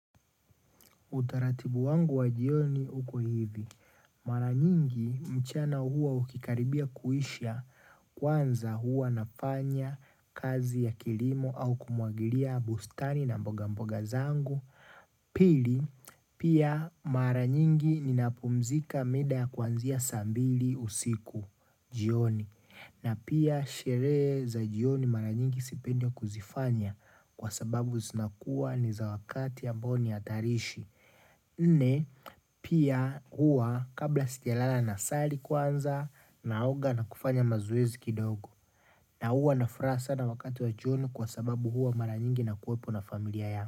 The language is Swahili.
Utaratibu wangu wa jioni uko hivi. Mara nyingi mchana huwa ukikaribia kuisha kwanza huwa nafanya kazi ya kilimo au kumwagilia bustani na mboga mboga zangu. Pili, pia mara nyingi ninapumzika mida ya kwanzia saa mbili usiku jioni na pia sherehe za jioni mara nyingi sipendi kuzifanya kwa sababu zinakua ni za wakati ambao ni hatarishi Nne, pia huwa kabla sijalala nasali kwanza naoga na kufanya mazoezi kidogo na huwa nina furaha sana wakati wa jioni kwa sababu huwa mara nyingi nakuwepo na familia yangu.